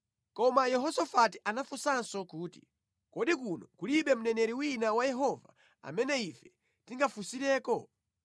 Koma Yehosafati anafunsanso kuti, “Kodi kuno kulibe mneneri wina wa Yehova amene ife tingafunsireko?”